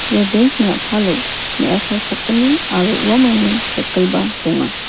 ia bank -ni a·palo me·asa sakgni aro uamangni cycle -ba donga.